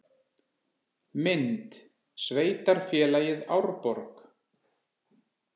Mynd: Sveitarfélagið Árborg